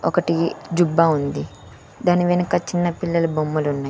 ఒకటి జుబ్బా ఉంది దాని వెనక చిన్నపిల్లల బొమ్మలున్నాయ్.